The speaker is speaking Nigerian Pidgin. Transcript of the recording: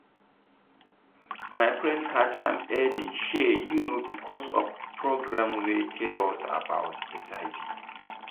my friend catch am early shey you know because of program wey tell us about hiv.